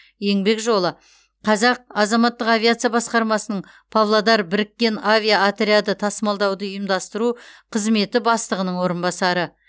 еңбек жолы қазақ азаматтық авиация басқармасының павлодар біріккен авиаотряды тасымалдауды ұйымдастыру қызметі бастығының орынбасары